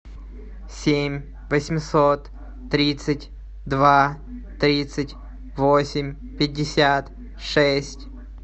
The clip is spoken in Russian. семь восемьсот тридцать два тридцать восемь пятьдесят шесть